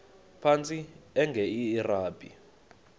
phantsi enge lrabi